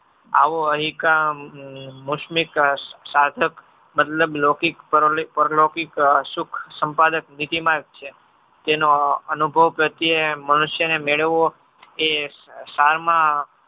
આવો અહીંકામ મુસ્મિક સાર્થક મતલબ લૌકિક પરલૌકિક સુખ સંપાદક નીતિમાં જ છે. જેનો અનુભવ પ્રતેય મનુષ્યને મેળવવો એ